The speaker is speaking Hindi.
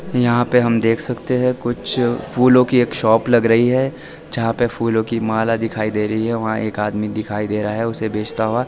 यहां पे हम देख सकते हैं कुछ फूलों की एक शॉप लग रही है जहां पे फूलों की माला दिखाई दे रही है वहां एक आदमी दिखाई दे रहा है उसे बेचता हुआ।